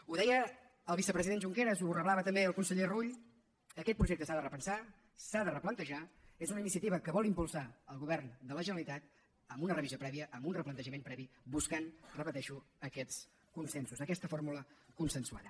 ho deia el vicepresident junqueras ho reblava també el conseller rull aquest projecte s’ha de repensar s’ha de replantejar és una iniciativa que vol impulsar el govern de la generalitat amb una revisió prèvia amb un replantejament previ buscant ho repeteixo aquests consensos aquesta fórmula consensuada